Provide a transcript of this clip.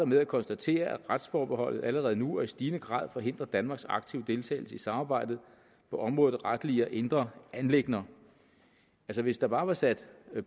med at konstatere at retsforbeholdet allerede nu og i stigende grad forhindrer danmarks aktive deltagelse i samarbejdet på området retlige og indre anliggender hvis hvis der bare var sat